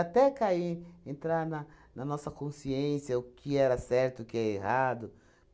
cair, entrar na na nossa consciência, o que era certo, o que é errado.